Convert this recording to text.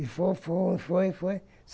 E foi, foi, foi, foi.